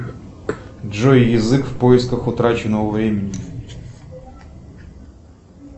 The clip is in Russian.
джой язык в поисках утраченного времени